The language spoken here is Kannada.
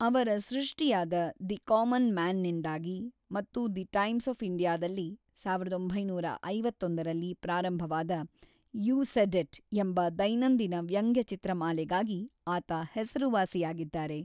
ಅವರ ಸೃಷ್ಟಿಯಾದ ದಿ ಕಾಮನ್ ಮ್ಯಾನ್‌ನಿಂದಾಗಿ ಮತ್ತು ದಿ ಟೈಮ್ಸ್ ಆಫ್ ಇಂಡಿಯಾದಲ್ಲಿ ಸಾವಿರದ ಒಂಬೈನೂರ ಐವತ್ತೊಂದರಲ್ಲಿ ಪ್ರಾರಂಭವಾದ ಯೂ ಸೆಡ್‌ ಇಟ್‌ ಎಂಬ ದೈನಂದಿನ ವ್ಯಂಗ್ಯಚಿತ್ರಮಾಲೆಗಾಗಿ ಆತ ಹೆಸರುವಾಸಿಯಾಗಿದ್ದಾರೆ.